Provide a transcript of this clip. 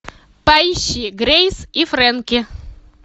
поищи грейс и фрэнки